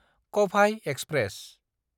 कबाय express